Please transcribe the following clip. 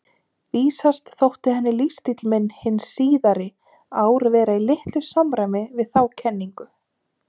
Vísast þótti henni lífsstíll minn hin síðari ár vera í litlu samræmi við þá kenningu.